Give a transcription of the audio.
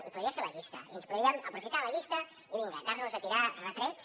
i podria fer la llista i ens podríem aprofitar de la llista i vinga anar nos a tirar retrets